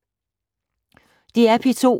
DR P2